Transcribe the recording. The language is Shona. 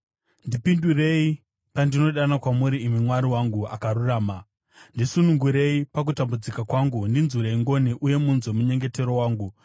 Ndipindurei pandinodana kwamuri, imi Mwari wangu makarurama. Ndisunungurei pakutambudzika kwangu; ndinzwirei ngoni uye munzwe munyengetero wangu.